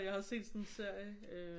Jeg har set sådan en serie øh